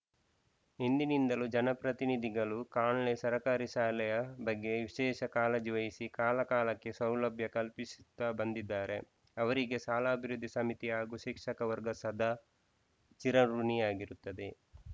ಹಿಂದಿನಿಂದಲೂ ಜನಪ್ರತಿನಿಧಿಗಳು ಕಾನ್ಲೆ ಸರ್ಕಾರಿ ಶಾಲೆಯ ಬಗ್ಗೆ ವಿಶೇಷ ಕಾಳಜಿ ವಹಿಸಿ ಕಾಲಕಾಲಕ್ಕೆ ಸೌಲಭ್ಯ ಕಲ್ಪಿಸುತ್ತಾ ಬಂದಿದ್ದಾರೆ ಅವರಿಗೆ ಶಾಲಾಭಿವೃದ್ಧಿ ಸಮಿತಿ ಹಾಗೂ ಶಿಕ್ಷಕ ವರ್ಗ ಸದಾ ಚಿರಋುಣಿಯಾಗಿರುತ್ತದೆ